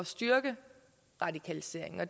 styrke radikaliseringen og